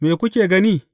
Me kuka gani?